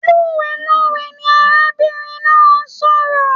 Lowelowe ní arábìnrin náà n sọ̀rọ̀.